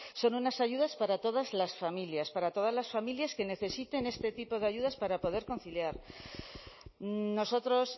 son unas ayudas para todas las familias para todas las familias que necesiten este tipo de ayudas para poder conciliar nosotros